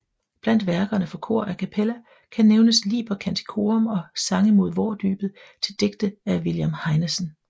Blandt værkerne for kor a cappella kan nævnes Liber Canticorum og Sange mod vårdybet til digte af William Heinesen